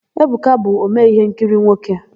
Ebuka bụ omee íhénkiri nwoke.